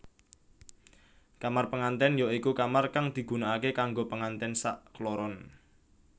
Kamar pengantèn ya iku kamar kang digunakaké kanggo pengantén sakkloron